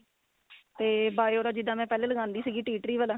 ਤੇ bio ਦਾ ਜਿੱਦਾਂ ਮੈਂ ਪਹਿਲੇ ਲਗਾਂਦੀ ਸੀਗੀ tree tree ਵਾਲਾ